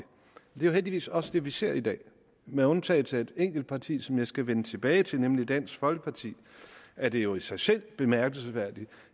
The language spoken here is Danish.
jo heldigvis også det vi ser i dag med undtagelse af et enkelt parti som jeg skal vende tilbage til nemlig dansk folkeparti er det jo i sig selv bemærkelsesværdigt